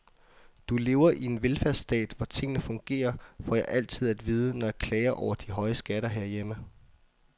Du lever i en velfærdsstat, hvor tingene fungerer, får jeg altid at vide, når jeg klager over de høje skatter herhjemme.